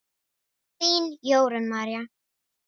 Þín, Jórunn María.